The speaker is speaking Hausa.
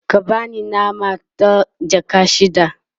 ka bani nama ta jaka shida